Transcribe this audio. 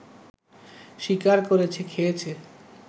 শিকার করেছে, খেয়েছে